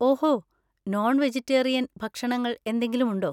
ഓഹോ, non vegetarian ഭക്ഷണങ്ങൾ എന്തെങ്കിലുമുണ്ടോ?